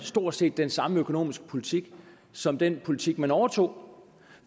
stort set den samme økonomiske politik som den politik man overtog